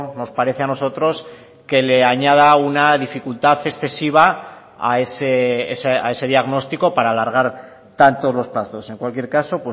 nos parece a nosotros que le añada una dificultad excesiva a ese diagnóstico para alargar tanto los plazos en cualquier caso